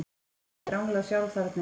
Hún hafði ranglað sjálf þarna inn.